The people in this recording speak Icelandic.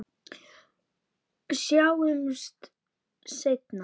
Sjáumst seinna.